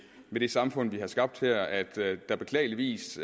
det samfund vi har skabt her at der beklageligvis